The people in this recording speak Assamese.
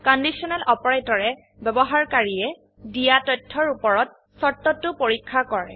কণ্ডিশ্যনেল অপাৰেটৰে ব্যবহাৰকাৰীয়ে দিয়া তথ্যৰ উপৰত শৰ্তটো পৰীক্ষা কৰে